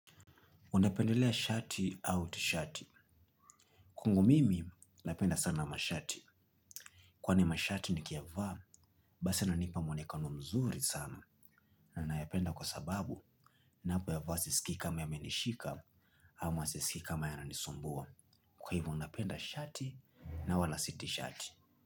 Unapendelea shati au tishati. Kwangu mimi napenda sana mashati. Kwani mashati nikiyavaa, basi yananipa mwonekano mzuri sana. Na nayapenda kwa sababu napo yavaa sisiki kamayamenishika ama sisiki kamayananisumbua. Kwa hivo napenda shati na wala si tishati.